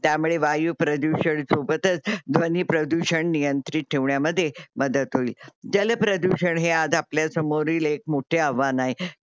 त्यामुळे वायू प्रदूषण सोबतच ध्वनी प्रदूषण नियंत्रित ठेवण्यामध्ये मदत होईल. जल प्रदूषण हे आज आपल्या समोरील एक मोठे आव्हान आहे.